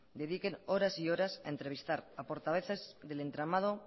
dediquen horas y horas a entrevistar a portavoces del entramado